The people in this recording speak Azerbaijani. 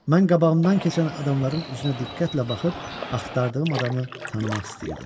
Mən qabağımdan keçən adamların üzünə diqqətlə baxıb axtardığım adamı tanımaq istəyirdim.